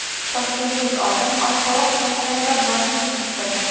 Toshkentlik olim oshqovoq poyalarida bodring yetishtirdi.